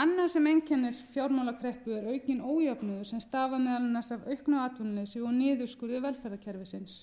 annað sem einkennir fjármálakreppu er aukinn ójöfnuður sem stafar meðal annars af auknu atvinnuleysi og niðurskurði velferðarkerfisins